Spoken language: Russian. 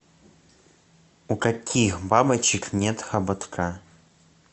у каких бабочек нет хоботка